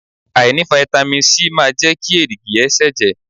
Àìní fáítámì Sí máa jẹ́ kí èrìgì ẹ ṣẹ̀jẹ̀.